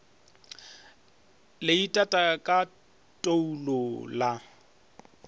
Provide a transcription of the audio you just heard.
le itata ka toulo la